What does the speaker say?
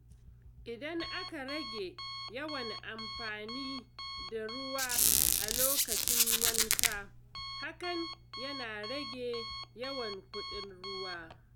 Idan aka rage yawan amfani da ruwa a lokacin wanka, hakan yana rage yawan kuɗin ruwa.